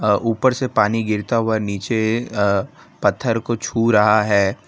ऊपर से पानी गिरता हुआ नीचे पत्थर को छू रहा है।